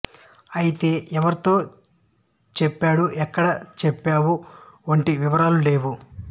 అయితే ఎవరితో చెప్పాడు ఎక్కడ చెప్పావు వంటి వివరాలు లేవు